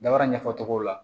Dabara ɲɛfɔ cogo la